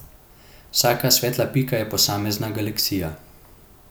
Vsaka svetla pika je posamezna galaksija.